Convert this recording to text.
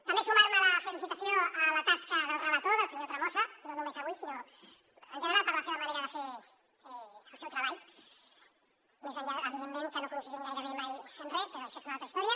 també sumar me a la felicitació a la tasca del relator del senyor tremosa no només avui sinó en general per la seva manera de fer el seu treball més enllà evidentment que no coincidim gairebé mai en res però això és una altra història